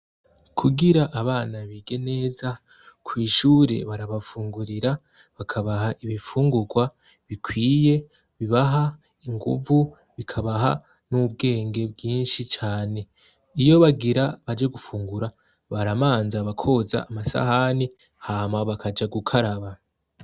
Kugira abana bige neza, kw'ishure barabafungurira bakabaha ibifungurwa bikwiye bibaha inguvu, bikabaha n'ubwenge bwinshi cane, iyo bagira baje gufungura baramanza bakoza amasahani hama bakaja gukaraba.